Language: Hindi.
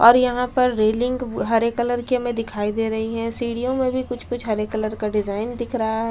और यहां पर रेलिंग हरे कलर की हमें दिखाई दे रही है सीढ़ियों में भी कुछ-कुछ हरे कलर का डिजाइन दिख रहा है।